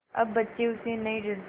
अब बच्चे उससे नहीं डरते